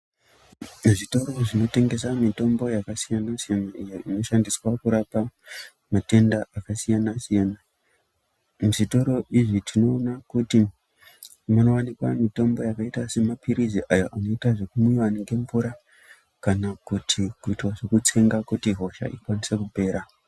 Zvitoro zvinotengesa mitombo yakasiyana-siyana iyo inoshandiswa kurapa matenda akasiyana-siyana. Muzvitoro izvi tinoona kuti munowanikwa mitombo yakaita semapilizi ayo anoitwe zvekumwiwa nemvura kana kuite zvekutsenga kuti hosha ikasike kupera.